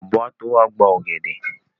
Ọ̀bọ́ á tó wá gba ọ̀gẹ̀dẹ̀.